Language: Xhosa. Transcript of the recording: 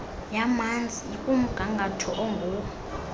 yamanzi ikumgangatho onguwo